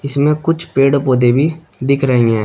इसमें कुछ पेड़ पौधे भी दिख रही है।